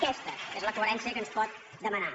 aquesta és la coherència que ens pot demanar